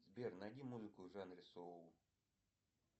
сбер найди музыку в жанре соул